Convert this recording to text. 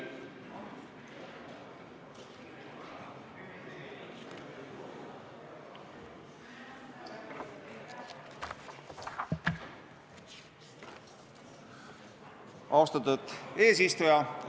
Austatud eesistuja!